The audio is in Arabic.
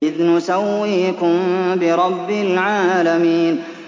إِذْ نُسَوِّيكُم بِرَبِّ الْعَالَمِينَ